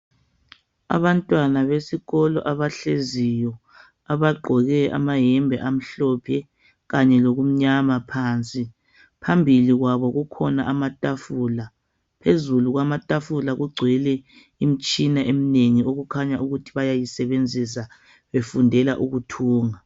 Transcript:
Abantwana besikolo abahleziyo , abaggoke amayembe amhlophe, kanye lokumnyama phansi. Phambili kwabo kukhona amatafula. Phezulu kwamatafula kugcwele imtshina emnengi okukhanya ukuthi bayayisebenzisa befundela ukuthunga.